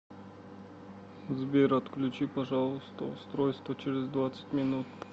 сбер отключи пожалуйста устройство через двадцать минут